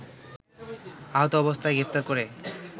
আহত অবস্থায় গ্রেফতার করে